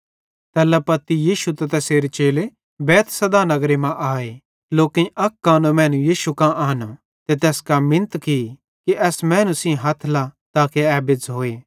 तैल्ला पत्ती यीशु त तैसेरे चेले बैतसैदा नगरे मां आए लोकेईं अक कानो मैनू यीशु कां आनो ते तैस कां मिन्नत की कि एस मैनू सेइं हथ लाथ ताके ए बेज़्झ़ोए